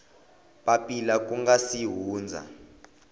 papila ku nga si hundza